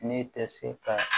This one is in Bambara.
Ne tɛ se ka